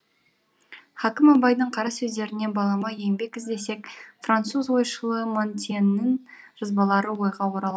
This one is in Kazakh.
хакім абайдың қара сөздеріне балама еңбек іздесек француз ойшылы монтеньнің жазбалары ойға орала